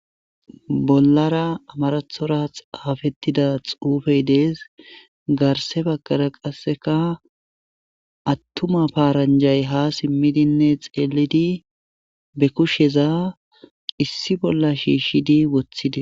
Bollara amarathora xaafettida xuufey dees garse baggara qasseka attuma paaranjay ha simmidinne xeelidi be kusheza issi bolla shiishidi woththide.